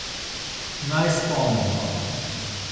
Naj spomnimo.